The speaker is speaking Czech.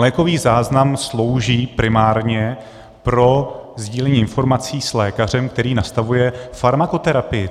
Lékový záznam slouží primárně pro sdílení informací s lékařem, který nastavuje farmakoterapii.